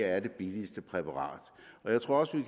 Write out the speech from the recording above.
er det billigste præparat jeg tror også at